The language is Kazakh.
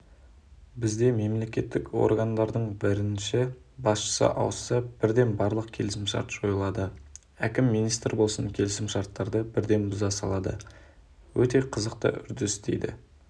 бізде мемлекеттік органдардың бірінші басшысы ауысса бірден барлық келісімшарттар жойылады әкім министр болсын келісімшарттарды бірден бұза салады өте қызықты үрдіс дейді